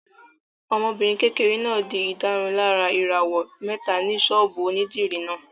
Ọmọbìnrin kékeré náà n di ìdárunlárà ìràwọ̀ mẹ́ta ní sọ́ọ̀bù onídìrí náà